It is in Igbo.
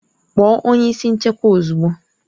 Kpọọ onye isi nchekwa ozugbo!